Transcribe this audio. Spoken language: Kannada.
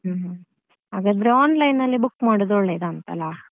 ಹ್ಮ್ ಹಾಗಾದ್ರೆ online ಅಲ್ಲಿ book ಮಾಡುದು ಒಳ್ಳೇದಂತ ಅಲ್ಲಾ.